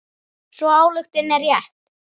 Sú ályktun er rétt.